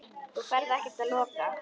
Þú ferð ekkert að loka!